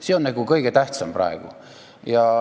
See on praegu kõige tähtsam.